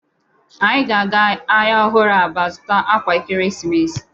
Anyi ga-aga ahịa ọhụrụ Aba zuta akwa ekeresimesi.